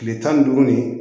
Kile tan ni duuru nin